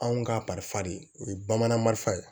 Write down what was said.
Anw ka kalifa de o ye bamanan marifan ye